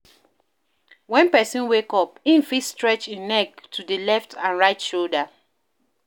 When person wake up, im fit stretch im neck to di letf and right shoulder